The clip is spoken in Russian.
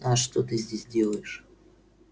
а что ты здесь делаешь